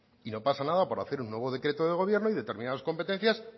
y no pasa nada por hacer un nuevo decreto de gobierno y determinadas competencias